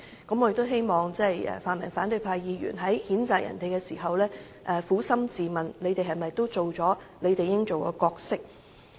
我希望泛民反對派議員在譴責他人時撫心自問，他們又有否發揮應有的角色？